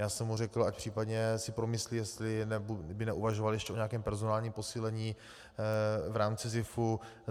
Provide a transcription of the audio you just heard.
Já jsem mu řekl, ať případně si promyslí, jestli by neuvažoval ještě o nějakém personálním posílení v rámci SZIFu.